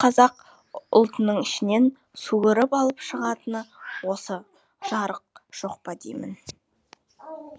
сол қазақ ұлтының ішінен суырып алып шығатын осы жарық жоқ па деймін